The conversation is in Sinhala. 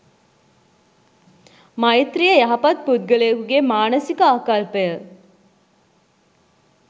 මෛත්‍රිය යහපත් පුද්ගලයකුගේ මානසික ආකල්පය